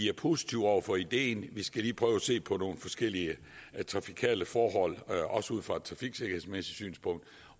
er positive over for ideen vi skal lige prøve at se på nogle forskellige trafikale forhold også ud fra et trafiksikkerhedsmæssigt synspunkt